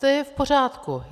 To je v pořádku.